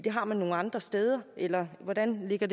har det nogle andre steder eller hvordan ligger